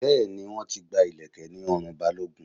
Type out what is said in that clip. Bẹẹ ni, wọ́n ti gba ileke ní ọrùn Balogun